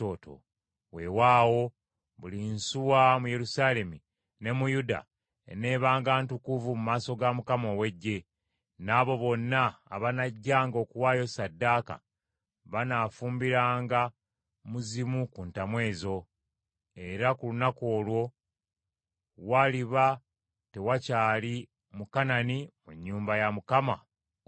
Weewaawo, buli nsuwa mu Yerusaalemi ne mu Yuda eneebanga ntukuvu mu maaso ga Mukama ow’Eggye; n’abo bonna abanajjanga okuwaayo ssaddaaka banaafumbiranga mu zimu ku ntamu ezo. Era ku lunaku olwo, waliba tewakyali Mukanani mu nnyumba ya Mukama ow’Eggye.